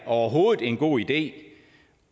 overhovedet en god idé